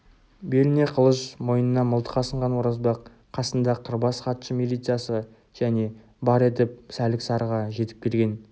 беліне қылыш мойнына мылтық асынған оразбақ қасында қырбас хатшы милициясы және бар етіп сәлік-сарыға жетіп келген